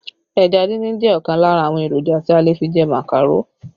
Ẹja díndín jẹ́ ọ̀kan lára àwọn èròjà tí a lè fi jẹ màkàró